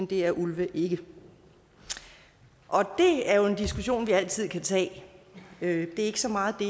det er ulve ikke det er jo en diskussion vi altid kan tage det er ikke så meget det